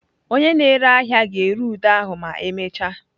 Onye na-ere ahịa ga-ere ude ahụ ma emechaa.